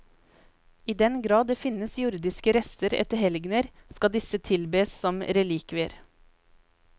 I den grad det finnes jordiske rester etter helgener, skal disse tilbes som relikvier.